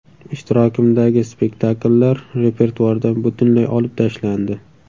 Ishtirokimdagi spektakllar repertuardan butunlay olib tashlandi.